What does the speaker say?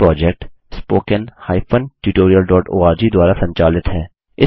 यह project httpspoken tutorialorg द्वारा संचालित है